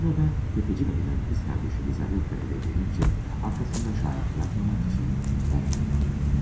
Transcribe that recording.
Bu zaman sələmçi qadının bacısı Lizavetta evə gəlincə, arxasında şahid buraxmamaq üçün onu da öldürür.